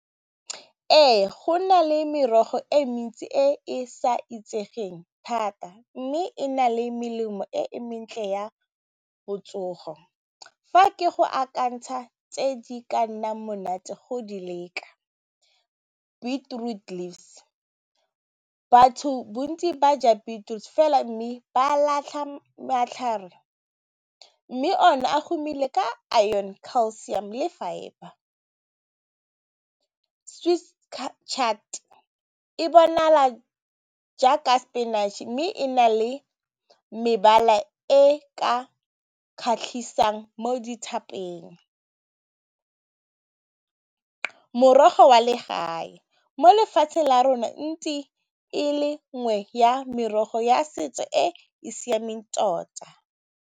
Ee go na le merogo e mentsi e e sa itsegeng thata mme e na le melemo e e mentle ya botsogo fa ke go akantsha tse di ka nnang monate go di leka beetroot leaves, batho bontsi ba ja beetroot fela mme ba latlha matlhare mme o ne a humile ka iron, calcium le fibre swiss chard e bonala jaaka spinach mme e na le mebala e ka kgatlhisang mo . Morogo wa le gae mo lefatsheng la rona ntse e le nngwe ya merogo ya setso e siameng tota.